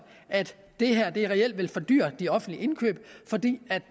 at det her reelt vil fordyre de offentlige indkøb fordi